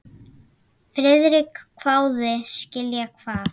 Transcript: Friðrik hváði: Skilja hvað?